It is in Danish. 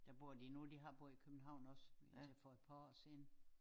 Der bor de nu de har boet i København også indtil for et par år siden